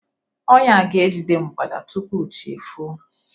ọnya a ga-ejide mgbada tupu chi efoo.